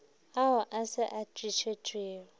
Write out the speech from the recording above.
ao a se a tlišwego